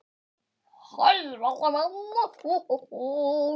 Hæ, Valli minn.